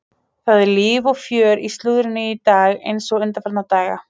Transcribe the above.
Það er líf og fjör í slúðrinu í dag eins og undanfarna daga.